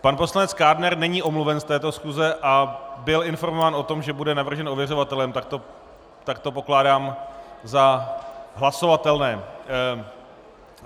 Pan poslanec Kádner není omluven z této schůze a byl informován o tom, že bude navržen ověřovatelem, tak to pokládám za hlasovatelné.